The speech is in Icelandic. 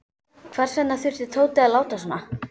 Hvers vegna þurfti Tóti að láta svona.